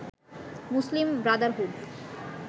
Muslim Brotherhood